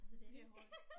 Det hårdt